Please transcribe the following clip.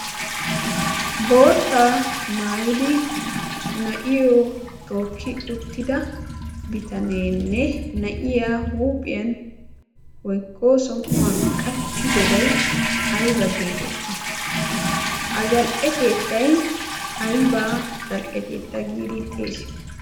Bootaa maayidi na'iyo tooki uttida bitaneene huuphiyan woykko somuwan qachidobay ayba geetetti? ha zal;e keettay ayba geetetti?